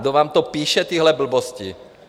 Kdo vám to píše, tyhle blbosti?